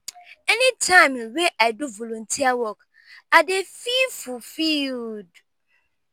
anytime wey i do volunteer work i dey feel fulfiled.